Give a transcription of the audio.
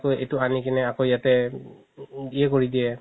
এইটো আনি কিনে আকৌ ইয়াতে উম ইয়ে কৰি দিয়ে